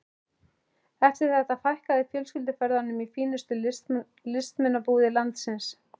Eftir þetta fækkaði fjölskylduferðunum í fínustu listmunabúðir landsins.